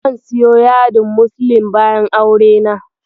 Zan siyo yadin muslin bayan aurena.